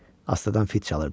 Astadan fit çalırdı.